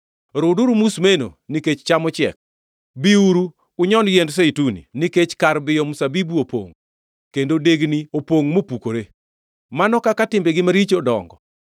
Runduru musmeno, nikech cham ochiek. Biuru, unyon yiend Zeituni nikech kar biyo mzabibu opongʼ, kendo degni opongʼ mopukore. Mano kaka timbegi maricho dongo!”